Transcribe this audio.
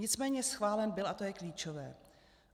Nicméně schválen byl a to je klíčové.